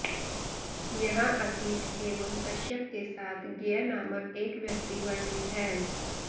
यहाँ असित एवं कश्यप के साथ गय नामक एक व्यक्ति वर्णित है